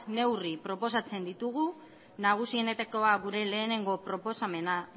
neurri proposatzen ditugu nagusienetakoa gure lehenengo proposamen